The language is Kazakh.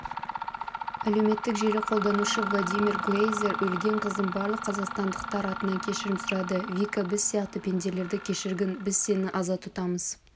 әлеуметтік желі қолданушы владимир глейзер өлген қыздан барлық қазақстандықтар атынан кешірім сұрады вика біз сияқты пенделерді кешіргін біз сені аза тұтамыз